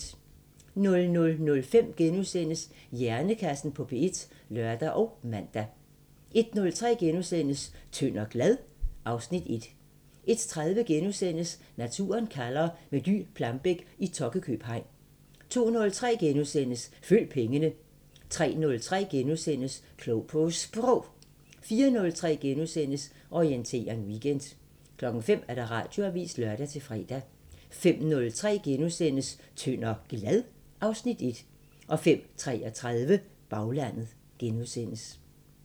00:05: Hjernekassen på P1 *(lør og man) 01:03: Tynd og glad? (Afs. 1)* 01:30: Naturen kalder – med Dy Plambeck i Tokkekøb hegn * 02:03: Følg pengene * 03:03: Klog på Sprog * 04:03: Orientering Weekend * 05:00: Radioavisen (lør-fre) 05:03: Tynd og glad? (Afs. 1)* 05:33: Baglandet *